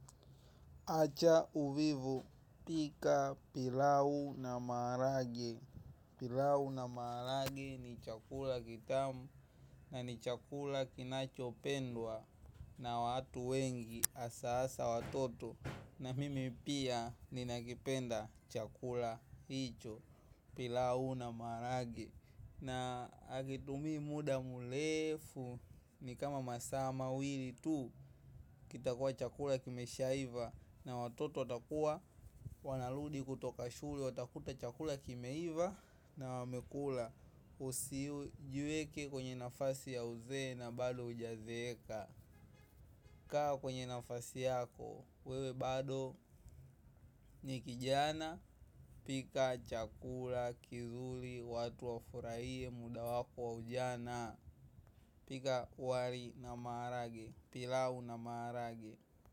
Acha uvivu, pika pilau na maharage. Pilau na maharage ni chakula kitamu. Na ni chakula kinachopendwa na watu wengi, asa asa watoto. Na mimi pia, ninakipenda chakula hicho. Pilau na maharage na hakitumii muda mulefu. Ni kama masaa mawili tu. Kitakuwa chakula kimeshaiva. Na watoto watakuwa, wanarudi kutoka shule, watakuta chakula kimeiva. Na wamekula, usijiweke kwenye nafasi ya uzee na bado hujazeeka. Kaa kwenye nafasi yako, wewe bado ni kijana. Pika chakula, kizuri, watu wafurahie, muda wako wa ujana. Pika wali na maharage, pilau na maharage.